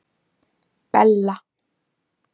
Bella